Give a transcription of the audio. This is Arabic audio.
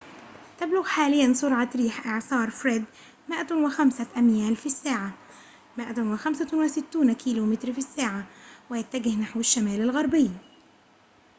تبلغ حاليًا سرعة ريح إعصار فريد 105 أميال في الساعة 165 كم/ساعة ويتجه نحو الشمال الغربي